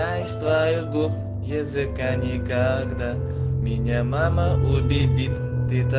твоего языка никогда меня мама увидит